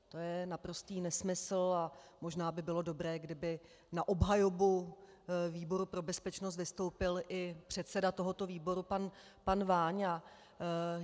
To je naprostý nesmysl a možná by bylo dobré, kdyby na obhajobu výboru pro bezpečnost vystoupil i předseda tohoto výboru pan Váňa.